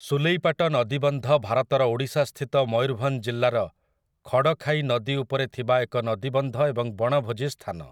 ସୁଲେଇପାଟ ନଦୀବନ୍ଧ ଭାରତର ଓଡ଼ିଶାସ୍ଥିତ ମୟୂରଭଞ୍ଜ ଜିଲ୍ଲାର ଖଡ଼ଖାଇ ନଦୀ ଉପରେ ଥିବା ଏକ ନଦୀବନ୍ଧ ଏବଂ ବଣଭୋଜି ସ୍ଥାନ ।